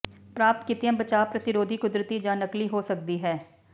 ਪ੍ਰਾਪਤ ਕੀਤੀ ਬਚਾਅ ਪ੍ਰਤੀਰੋਧੀ ਕੁਦਰਤੀ ਜਾਂ ਨਕਲੀ ਹੋ ਸਕਦੀ ਹੈ